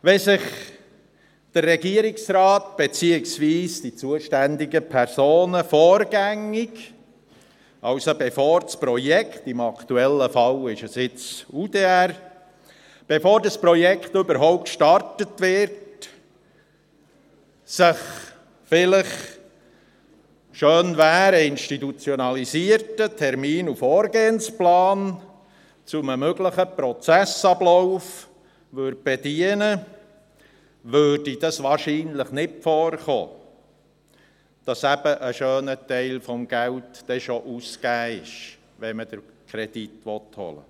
Wenn sich der Regierungsrat beziehungsweise die zuständigen Personen vorgängig, also bevor das Projekt – im aktuellen Fall ist es nun das Projekt Umsetzung Direktionsreform (UDR) – gestartet wird, vielleicht, schön wäre ein institutionalisierter Termin- und Vorgehensplan zu einem möglichen Prozessablauf bedienen würden, käme es wahrscheinlich nicht vor, dass ein schöner Teil des Geldes eben schon ausgegeben wurde, wenn man den Kredit holen will.